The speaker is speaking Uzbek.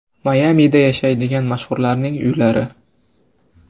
Mayamida yashaydigan mashhurlarning uylari .